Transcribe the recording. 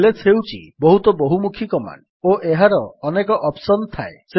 is ହେଉଛି ବହୁତ ବହୁମୁଖୀ କମାଣ୍ଡ ଓ ଏହାର ଅନେକ ଅପ୍ସନ୍ ଥାଏ